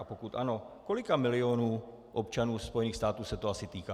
A pokud ano, kolika milionů občanů Spojených států se to asi týká?